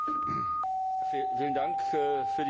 Vielen Dank für die Frage, Herr Kollege.